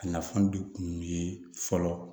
A nafan de kun ye fɔlɔ